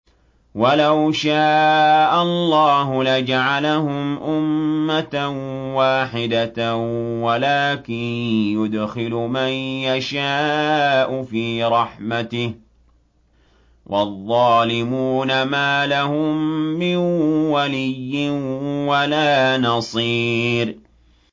وَلَوْ شَاءَ اللَّهُ لَجَعَلَهُمْ أُمَّةً وَاحِدَةً وَلَٰكِن يُدْخِلُ مَن يَشَاءُ فِي رَحْمَتِهِ ۚ وَالظَّالِمُونَ مَا لَهُم مِّن وَلِيٍّ وَلَا نَصِيرٍ